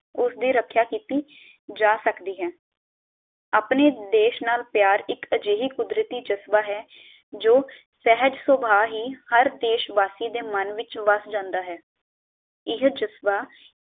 ਉਸਦੀ ਰਕਸ਼ਾ ਕੀਤੀ ਜਾ ਸਕਦੀ ਹੈ, ਅਪਣੇ ਦੇਸ਼ ਨਾਲ ਪਿਆਰ ਇਕ ਅਜੇਹੀ ਕੁਦਰਤੀ ਜਜ਼ਬਾ ਹੈ ਜੋ ਸਹਜ ਸੁਭਾਅ ਹੀ ਹਰ ਦੇਸ਼ਵਾਸੀ ਦੇ ਮਨ ਵਿਚ ਵੱਸ ਜਾਂਦਾ ਹੈ ਇਹ ਜਜ਼ਬਾ